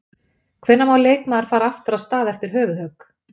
Hvenær má leikmaður fara aftur af stað eftir höfuðhögg?